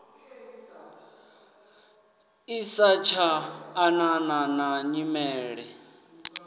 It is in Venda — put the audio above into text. i satsha anana na nyimele